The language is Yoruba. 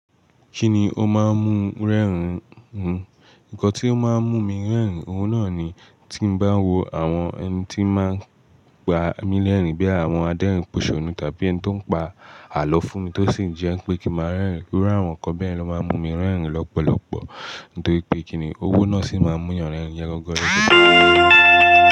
Kíni ó máa ń mú rẹ́rìn-ín ń? Nǹkan tí ó máa ń mú mi rẹ́rìn-ín, oun náà ni. Tí mo bá wo àwọn ẹni tí ó máa ń pa mí lẹ́rìn-ín bíi àwọn adẹ́rìn-ín Pòṣòúnù tàbí ẹni tí ó ń pa àlọ́ fún mi tó sì ń jẹ́ pé kí n máa rẹ́rìn-ín iru àwọn nǹkan bẹ́ẹ̀ lo máa ń mú mi rẹ́rìn-ín lọ́pọ̀lọpọ̀. Nítorí pé kíni owó náà sì máa ń mú ènìyàn rẹ́rìn-ín yẹn gangan.